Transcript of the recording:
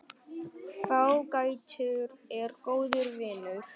Fágætur er góður vinur.